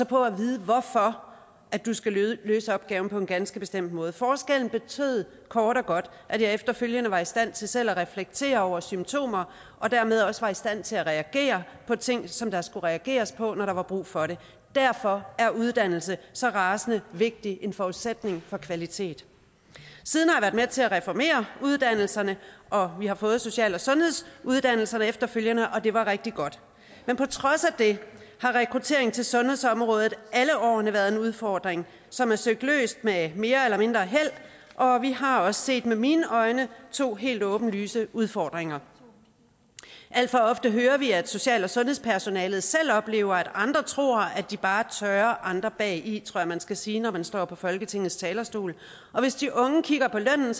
på at vide hvorfor du skal løse opgaven på en ganske bestemt måde forskellen betød kort og godt at jeg efterfølgende var i stand til selv at reflektere over symptomer og dermed også var i stand til at reagere på ting som der skulle reageres på når der var brug for det derfor er uddannelse så rasende vigtig forudsætning for kvalitet siden har jeg været med til at reformere uddannelserne og vi har fået social og sundhedsuddannelserne efterfølgende og det var rigtig godt men på trods af det har rekrutteringen til sundhedsområdet alle årene været en udfordring som er søgt løst med mere eller mindre held og vi har også set med mine øjne to helt åbenlyse udfordringer alt for ofte hører vi at social og sundhedspersonalet selv oplever at andre tror at de bare tørrer andre bagi tror jeg man skal sige når man står på folketingets talerstol og hvis de unge kigger på lønnen